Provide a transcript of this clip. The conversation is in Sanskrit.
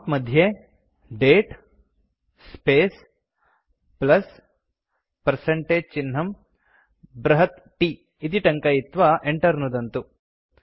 प्रॉम्प्ट् मध्ये दते स्पेस् प्लस् पर्सेन्टेज चिह्नं बृहत् T इति टङ्कयित्वा enter नुदन्तु